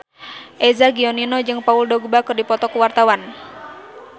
Eza Gionino jeung Paul Dogba keur dipoto ku wartawan